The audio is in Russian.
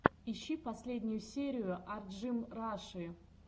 ищи последнюю серию арджимраши